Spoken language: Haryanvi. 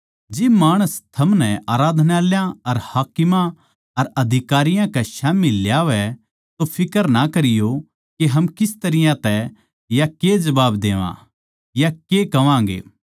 जिब माणस थमनै आराधनालयाँ अर हाकिमां अर अधिकारियां कै स्याम्ही ल्यावै तो फिक्र ना करियो के हम किस तरियां तै या के जबाब देवां या के कहवांगे